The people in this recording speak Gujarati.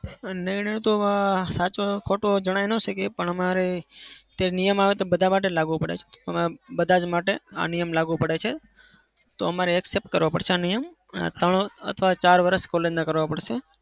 નિર્ણય તો આ સાચો કે ખોટો જણાઈ ન શકીએ પણ અમારે ત્યાં નિયમ આવે તે બધા માટે લાગુ પડે. અમે બધા માટે આ નિયમ લાગુ પડે છે તો અમારે accept કરવો પડશે આ નિયમ. આ ત્રણ અથવા ચાર વરસ collage ના કરવા પડશે.